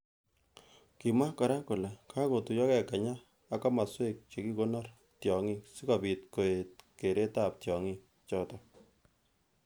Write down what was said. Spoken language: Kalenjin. Kimwa kora kole kakotuyokei Kenya ak kimoswek chekikonore tyongik sikobit koet keret ab tyongik. chotok.